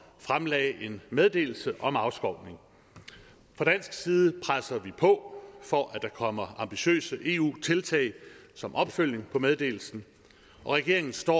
fremlagde en meddelelse om afskovning fra dansk side presser vi på for at der kommer ambitiøse eu tiltag som opfølgning på meddelelsen og regeringen står